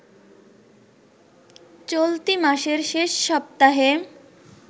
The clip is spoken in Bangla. চলতি মাসের শেষ সপ্তাহে